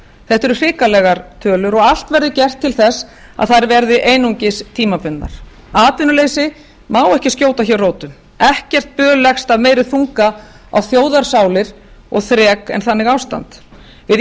þetta eru hrikalegar tölur og allt verður gert til þess að þær verði einungis tímabundnar atvinnuleysi má ekki skjóta hér rótum ekkert böl leggst af meiri þunga á þjóðarsál og þrek en þannig ástand við